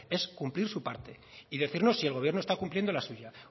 es cumplir su parte y decirnos si el gobierno está cumpliendo la suya